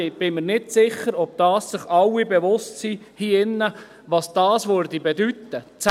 Ich bin mir nicht sicher, ob sich das alle hier drin bewusst sind, was das bedeuten würde.